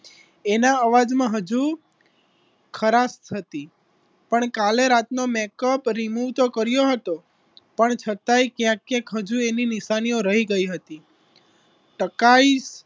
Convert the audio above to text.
એના અવાજમાં હજુ ખરાશ હતી પણ કાલે રાત નો મેકઅપ remove તો કર્યો હતો પણ છતાંય કયાક કયાક હજુ એની નિશાનીઓ રહી ગઈ હતી ટકાઈ